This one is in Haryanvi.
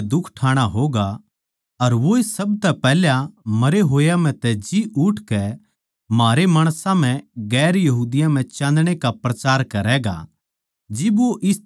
के मसीह नै दुख ठाणा होगा अर वोए सब तै पैहल्या मरे होया म्ह तै जी उठकै म्हारै माणसां म्ह दुसरी जात्तां म्ह चाँदणै का प्रचार करैगा